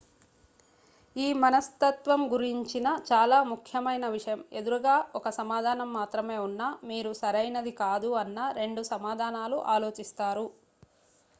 ఈ మనస్తత్వం గురించిన చాలా ముఖ్యమైన విషయం ఎదురుగా 1సమాధానం మాత్రమే ఉన్నా మీరు సరైనది కాదు అన్న 2 సమాధానాలు ఆలోచిస్తారు